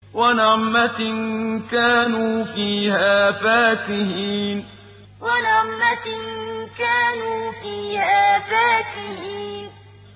وَنَعْمَةٍ كَانُوا فِيهَا فَاكِهِينَ وَنَعْمَةٍ كَانُوا فِيهَا فَاكِهِينَ